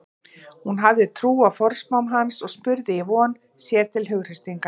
Hún hafði trú á forspám hans og spurði í von, sér til hughreystingar.